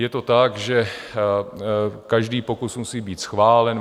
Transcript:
Je to tak, že každý pokus musí být schválen.